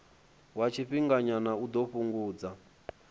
wa tshifhinganyana u ḓo fhungudza